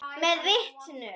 Með vitinu.